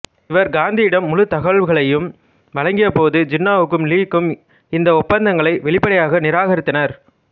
இவர் காந்தியிடம் முழு தகவல்களையும் வழங்கியபோது ஜின்னாவும் லீக்கும் இந்த ஒப்பந்தங்களை வெளிப்படையாக நிராகரித்தனர்